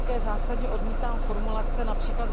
Zásadně odmítám formulace např.